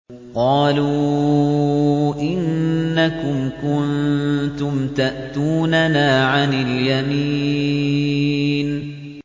قَالُوا إِنَّكُمْ كُنتُمْ تَأْتُونَنَا عَنِ الْيَمِينِ